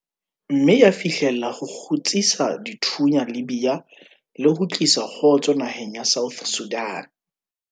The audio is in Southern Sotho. mme ya fihlella ho kgutsisa dithunya Libya le ho tlisa kgotso naheng ya South Sudan.